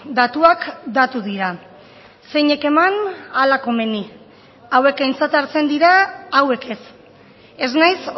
datuak datu dira zeinek eman hala komeni hauek aintzat hartzen dira hauek ez ez naiz